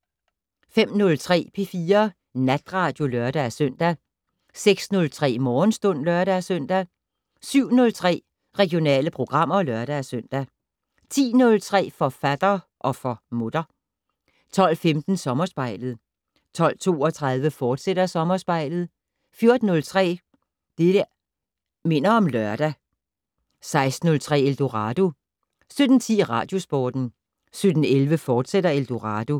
05:03: P4 Natradio (lør-søn) 06:03: Morgenstund (lør-søn) 07:03: Regionale programmer (lør-søn) 10:03: Forfatter - og for mutter 12:15: Sommerspejlet 12:32: Sommerspejlet, fortsat 14:03: Det' Minder om Lørdag 16:03: Eldorado 17:10: Radiosporten 17:11: Eldorado, fortsat